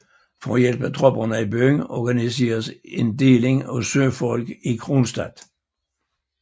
For at hjælpe tropperne i byen organiseres en en deling af søfolk i Kronstadt